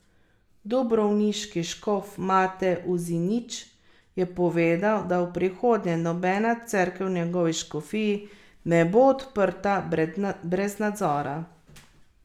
Dubrovniški škof Mate Uzinić je povedal, da v prihodnje nobena cerkev v njegovi škofiji ne bo odprta brez nadzora.